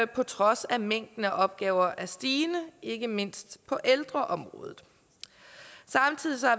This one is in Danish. på trods af at mængden af opgaver er stigende ikke mindst på ældreområdet samtidig